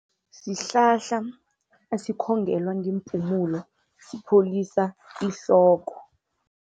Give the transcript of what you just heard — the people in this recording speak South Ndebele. Sihlahla esikhongelwa ngeempumulo, sipholisa ihloko.